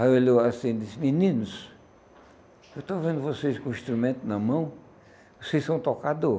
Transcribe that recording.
Aí olhou assim e disse, meninos, eu estou vendo vocês com o instrumento na mão, vocês são tocador.